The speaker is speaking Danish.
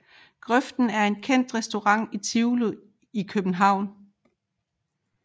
Grøften er en kendt restaurant i Tivoli i København